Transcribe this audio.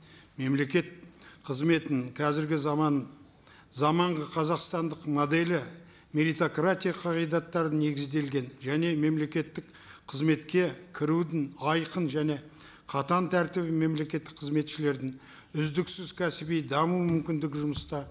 мемлекет қызметін қазіргі заман заманғы қазақстандық моделі меритократия қағидаттарына негізделген және мемлекеттік қызметке кірудің айқын және қатаң тәртібі мемлекеттік қызметшілердің үздіксіз кәсіби даму мүмкіндігі жұмыста